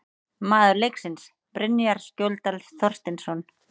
Maður leiksins: Brynjar Skjóldal Þorsteinsson